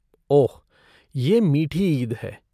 ओह! ये मीठी ईद है।